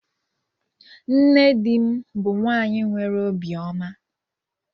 Nne dim bu nwanyi nwere obi oma